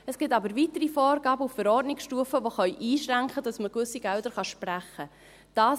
Es gibt aber weitere Vorgaben auf Verordnungsstufe, die einschränken können, sodass man gewisse Gelder sprechen kann.